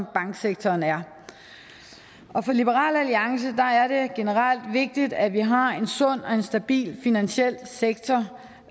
banksektoren er for liberal alliance er det generelt vigtigt at vi har en sund og en stabil finansiel sektor